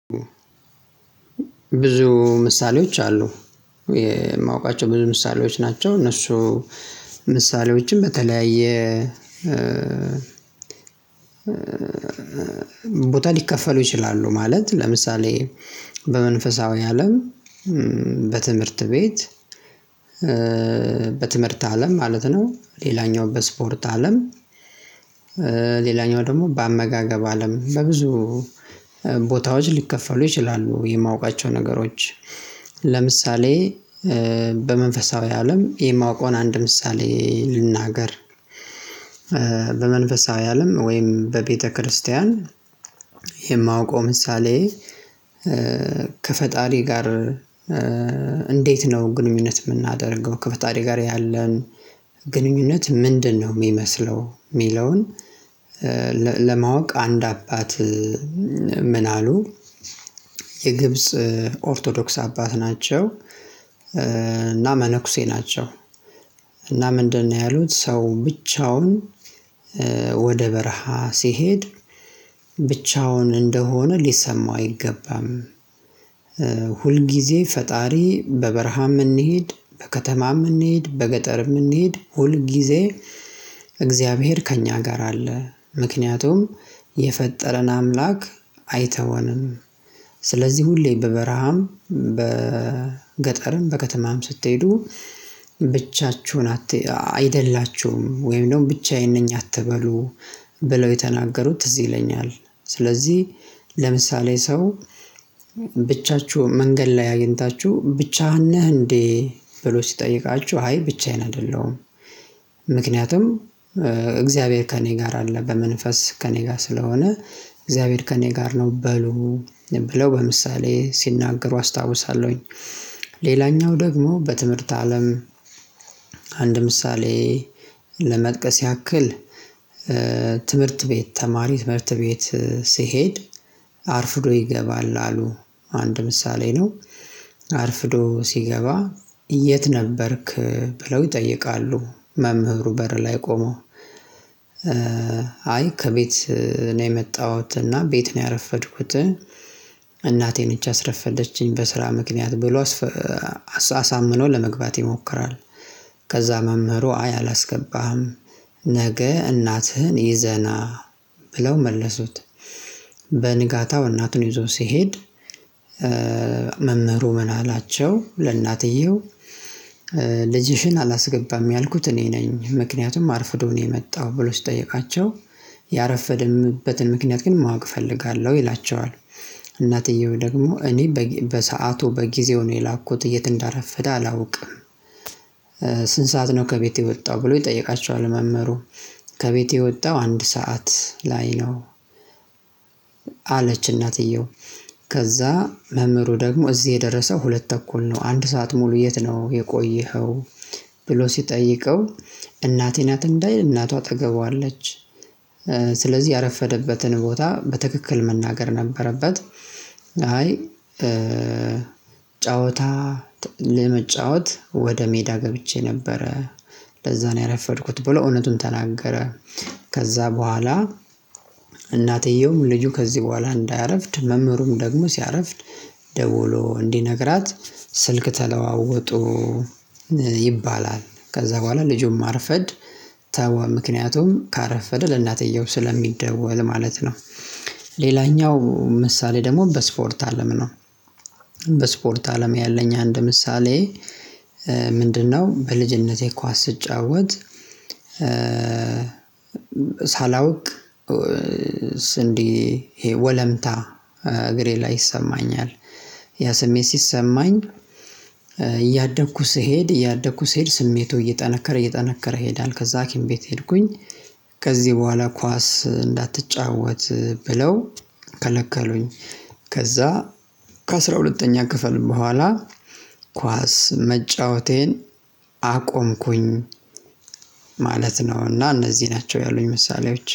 ብዙ ምሳሌዎች አሉ የማውቃቸው ብዙ ምሳሌዎች ናቸው እነሱ ምሳሌዎችን በተለያየ ቦታ ሊከፈሉ ይችላሉ ማለት ለምሳሌ በመንፈሳዊ አለም በትምህርት ቤት በትምህርት አለም ማለት ነው ሌላኛው በስፖርት አለም ሌላኛው ደግሞ በአመጋገብ አለም በብዙ ቦታዎች ሊከፈሉ ይችላ፤ የማውቃቸው ነገሮች ለምሳሌ በመንፈሳዊ አለም የማውቀውን አንድ ምሳሌ ልናገር፤ በመንፈሳዊ አለም ወይም በቤተክርስቲያን የማውቀው ምሳሌ ከፈጣሪ ጋር እንዴት ነው ግንኙነት የምናደርገው ከፈጣሪ ጋር ያለን ግንኙነት ምንድነው የሚመስለው የሚለውን ለማወቅ አንድ አባት ምን አሉ የግብጽ ኦርቶዶክስ አባት ናቸው እና መነኩሴ ናቸው እና ምንድነው ያሉት ሰው ብቻውን ወደ በረሃ ሲሄድ ብቻውን እንደሆነ ሊሰማው አይገባም፤ ሁልጊዜ ፈጣሪ በበረሃ እንሂድ በከተማም እንሂድ በገጠርም እንሂድ ሁል ጊዜ እግዚአብሔር ከእኛ ጋር አለ፤ ምክንያቱም የፈጠረን አምላክ አይተወንም ስለዚህ ሁሌ በበረሃም በገጠርም በከተማም ስትሄዱ ብቻችሁን አይደላችሁም ወይም ደግሞ ብቻዬን ነኝ አትበሉ ብለው የተናገሩት ትዝ ይለኛል ስለዚህ ለምሳሌ ሰው ብቻችሁን መንገድ ላይ አግኝታችሁ ብቻህን ነህ እንዴ ብሎ ሲጠይቃችሁ አይ ብቻዬን አይደለሁም ምክንያቱም እግዚአብሔር ከእኔ ጋር አለ በመንፈስ ከእኔ ጋር ስለሆነ እግዚአብሔር ከእኔ ጋር ነው በሉ ብለው በምሳሌ ሲናገሩ አስታውሳለሁኝ፤ ሌላኛው ደግሞ በትምህርት አለም አንድ ምሳሌ ለመጥቀስ ያክል ትምህርት ቤት ተማሪ ትምህርት ቤት ሲሄድ አርፍዶ ይገባል አሉ አንድ ምሳሌ ነው አርፍዶ ሲገባ የት ነበርክ ብለው ይጠይቃሉ መምህሩ በር ላይ ቆመው፤ ከቤት ነው የመጣሁት እና ቤት ነው ያረፈድኩት እናቴ ነች ያስረፈደችኝ በስራ ምክንያት ብሎ አሳምኖ ለመግባት ይሞክራል፥ ከዛ መምህሩ አይ አላስገባህም ነገ እናትህን ይዘህ ና ብለው መለሱት እናቱን ይዞ ሲሄድ መምህሩ ምን አላቸው ለእናትየው ልጅሽን አላስገባም ያልኩት እኔ ነኝ ምክንያቱም አርፍዶ ነው የመጣው ብሎ ሲጠይቃቸው ያረፈደምበትን ምክንያት ግን ማወቅ እፈልጋለሁ ይላቸዋል እናትየው ደግሞ እኔ በሰአቱ በጊዜው ነው የላኩት የት እንዳረፈደ አላውቅም ስንት ሰዓት ነው ከቤቴ የወጣው ብሎ ይጠይቃቸዋል መምህሩ ከቤቴ የወጣው አንድ ሰዓት ላይ ነው እናትየው ከዛ መምህሩ ደግሞ እዚህ የደረሰው ሁለት ተኩል ነው አንድ ሰዓት ሙሉ የት ነው የቆየኸው ብሎ ሲጠይቀው እናቴ ናት እንዳይል እናቱ አጠገቡ አለች፤ ስለዚህ ያረፈደበትን ቦታ በትክክል መናገር ነበረበት አይ ጨዋታ ለመጫወት ወደ ሜዳ ገብቼ ነበረ ለዛ ነው ያረፈድኩት ብሎ እውነቱን ተናገረ ከዛ በኋላ እናትየውም ልጁ ከዚህ በኋላ እንዳያረፍድ መምህሩም ደግሞ ሲያረፍድ ደውሎ እንዲነግራት ስልክ ተለዋወጡ ይባላል ከዛ በኋላ ልጁን ማርፈድ ተወ ምክንያቱም ካረፈደ ለእናትዮው ስለሚደወል ማለት ነው። ሌላኛው ምሳሌ ደግሞ በስፖርት አለም ነው በስፖርት አለም ያለኝ አንድ ምሳሌ ምንድነው በልጅነቴ ኳስ ስጫወት ሳላውቅ ስንዴ ይሄ ወለምታ እግሬ ላይ ይሰማኛል ያ ስሜት ሲሰማኝ እያደግኩ ስሄድ እያደኩ ስሄድ ስሜቱ እየጠነከረ እየጠነከረ ይሄዳል ከዛ ሀኪም ቤት ሄድኩኝ ከዚህ በኋላ ኳስ እንዳትጫወት ብለው ከለከሉኝ ከዛ ከአስራ ሁለተኛ ክፍል በኋላ ኳስ መጫወቴን አቆምኩኝ ማለት ነው እና እነዚህ ናቸው ያሉኝ ምሳሌዎች።